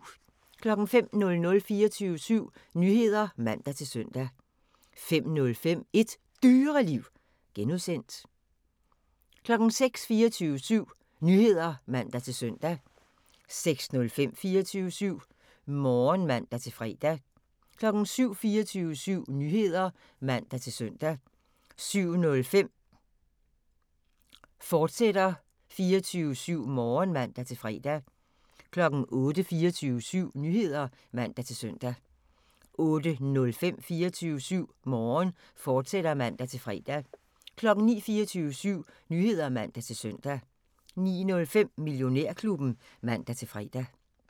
05:00: 24syv Nyheder (man-søn) 05:05: Et Dyreliv (G) 06:00: 24syv Nyheder (man-søn) 06:05: 24syv Morgen (man-fre) 07:00: 24syv Nyheder (man-søn) 07:05: 24syv Morgen, fortsat (man-fre) 08:00: 24syv Nyheder (man-søn) 08:05: 24syv Morgen, fortsat (man-fre) 09:00: 24syv Nyheder (man-søn) 09:05: Millionærklubben (man-fre)